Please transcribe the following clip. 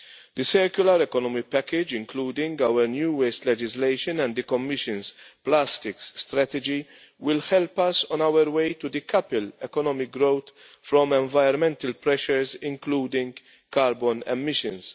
The Circular Economy Package, including our new waste legislation and the Commission's plastics strategy, will help us on our way to decoupling economic growth from environmental pressures, including carbon emissions.